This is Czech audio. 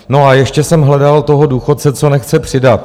No a ještě jsem hledal toho důchodce, co nechce přidat.